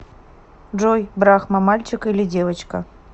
джой брахма мальчик или девочка